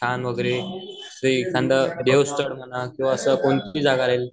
दिसायला खूपच छान वैगरे देव स्थळ म्हणा किंवा असं कोणती जागा राहील